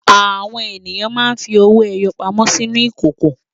Àwọn ènìyàn máa ń fi owó-ẹyọ pamọ́ sínú ìkókó.